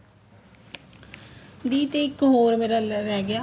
ਦੀ ਤੇ ਇੱਕ ਹੋਰ ਮੇਰਾ ਰਹਿ ਗਿਆ